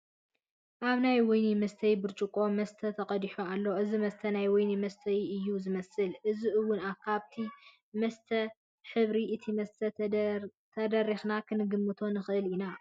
ኣብ ናይ ወይኒ መስተዪ ብርጭቆ መስተ ተቐዲሑ ኣሎ፡፡ እዚ መስተ ናይ ወይኒ መስተ እዩ ዝመስል፡፡ እዚ እውን ካብቲ መስተይኡን ሕብሪ እቲ መስተን ተደሪኽና ክንግምቶ ንኽእል እዩ፡፡